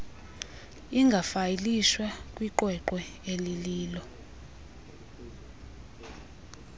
ingafayilishwa kwiqweqwe elilolo